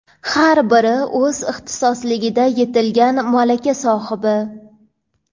har biri o‘z ixtisosligida yetilgan malaka sohibi.